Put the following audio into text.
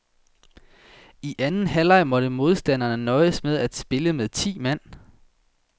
I anden halvleg måtte modstanderne nøjes med at spille med ti mand.